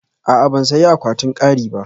A'a, ban sayi akwatin kari ba